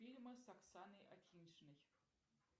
фильмы с оксаной акиньшиной